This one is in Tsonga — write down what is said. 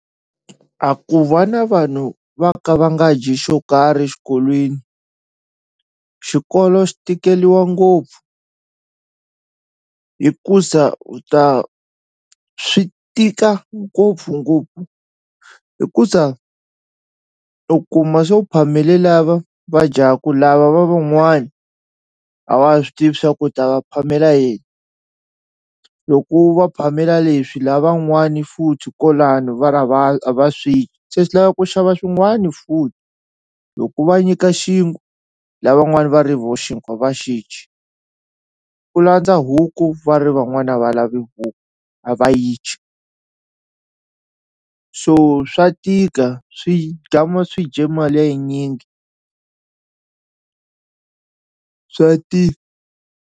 A ku va na vanhu va ka va nga dyi xo karhi xikolweni xikolo xi tikeliwa ngopfu hikuza u ta swi tika ngopfungopfu hikuza u kuma swo phamele lava va dyaku lava va van'wani a wa ha swi tivi swa ku ta va phamela yini loko u va phamela leswi lavan'wani futhi kwalano va ri a va a va swi se swi lava ku xava swin'wani futhi loko u va nyika xinkwa lavan'wani va ri vo xinkwa a va xi dyi u landza huku va ri van'wani a va lavi huku a va yi dyi so swa tika swi swi dye mali ya yinyingi swa .